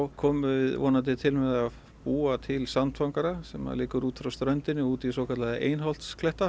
komum við vonandi til með að búa til sandfangara sem liggur út frá ströndinni út í svokallaða